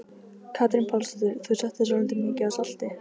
Katrín Pálsdóttir: Þú settir svolítið mikið af salti?